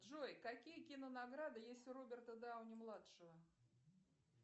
джой какие кинонаграды есть у роберта дауни младшего